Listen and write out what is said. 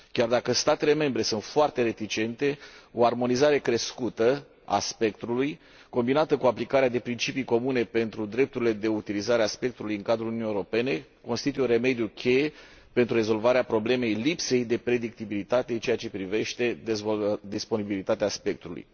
Chiar dacă statele membre sunt foarte reticente, o armonizare crescută a spectrului, combinată cu aplicarea de principii comune pentru drepturile de utilizare a spectrului în cadrul Uniunii Europene constituie un remediu cheie pentru rezolvarea problemei lipsei de predictibilitate în ceea ce privește disponibilitatea spectrului.